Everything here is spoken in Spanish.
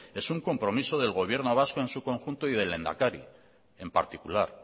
es un compromiso del gobierno vasco en su conjunto y del lehendakari en particular